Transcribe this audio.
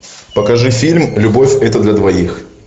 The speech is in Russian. покажи фильм любовь это для двоих